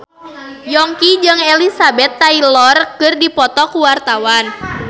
Yongki jeung Elizabeth Taylor keur dipoto ku wartawan